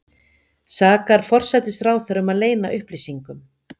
Sakar forsætisráðherra um að leyna upplýsingum